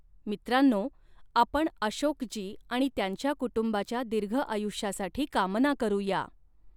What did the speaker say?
मित्रांनो, आपण अशोकजी आणि त्यांच्या कुटुंबाच्या दिर्घआयुष्यासाठी कामना करुया.